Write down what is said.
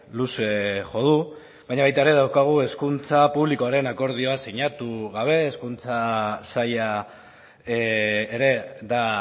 luze jo du baina baita ere daukagu hezkuntza publikoaren akordioa sinatu gabe hezkuntza saila ere da